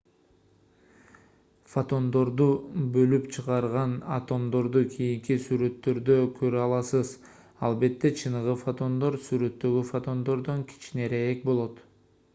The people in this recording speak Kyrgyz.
фотондорду бөлүп чыгарган атомдорду кийинки сүрөттөрдө көрө аласыз албетте чыныгы фотондор сүрөттөгү фотондордон кичинерээк болот